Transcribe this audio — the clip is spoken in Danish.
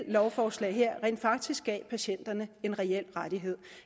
lovforslag rent faktisk gav patienterne en reel rettighed